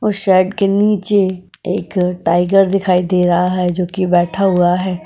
और के नीचे एक टाइगर दिखाई दे रहा है जोकि बैठा हुआ है।